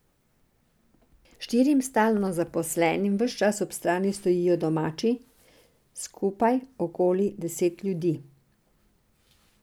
Štirim stalno zaposlenim ves čas ob strani stojijo domači, skupaj okoli deset ljudi.